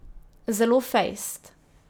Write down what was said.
Zelo fejst.